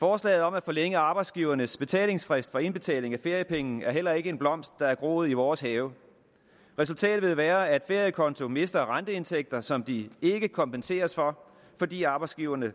forslaget om at forlænge arbejdsgivernes betalingsfrist for indbetaling af feriepenge er heller ikke en blomst der er groet i vores have resultat vil være at feriekonto mister renteindtægter som de ikke kompenseres for fordi arbejdsgiverne